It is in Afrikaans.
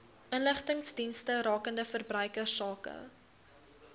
inligtingsdienste rakende verbruikersake